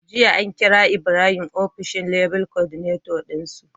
Jiya an kira ibrahim ofishin Level Coordinator din su